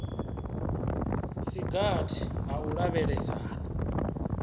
si gathi ha u lavhelesana